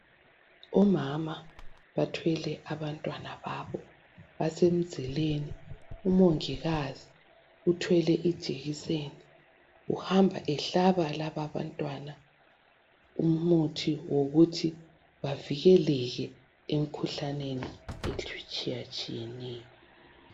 Omama bathwele abantwana babo basemizileni umongikazi uthwele ijekiseni uhamba ehlaba laba abantwana umuthi wokuthi bavikeleke emikhuhlaneni etshiyatshiyeneyo.